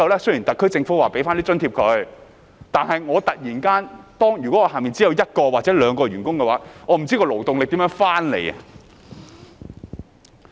雖然特區政府會為僱主提供津貼，但如果公司只有一兩名員工，便不知怎樣填補勞動力了。